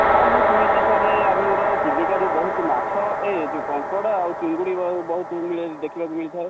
ଆଉ ମୁଁ ଶୁଣି ଛି sir ଆମର ଚିଲିକା ରୁ ବହୁତ ମାଛ ଏ ଯୋଉ କଙ୍କଡା ଆଉ ଚିଙ୍ଗୁଡ଼ି ବହୁତ ମିଳେ ଦେଖିବାକୁ ମିଳିଥାଏ |